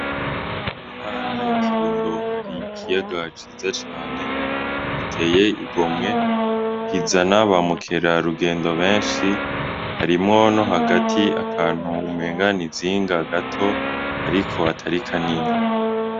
Mu ntara ya Kirundo hari ikiyaga ciza cane giteye igomwe kizana ba mukerarugendo benshi harimwo no hagati akantu umenga n' izinga gato ariko atari kanini.